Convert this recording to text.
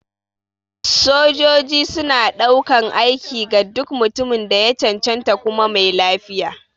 Sojoji suna ɗaukan aiki ga duk mutumin da ya cancanta kuma mai lafiya.